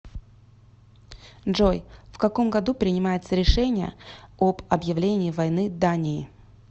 джой в каком году принимается решение об объявлении войны дании